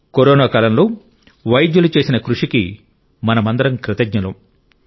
corona కాలంలో వైద్యులు చేసిన కృషికి మనమందరం కృతజ్ఞులం